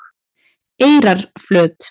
Eyrarflöt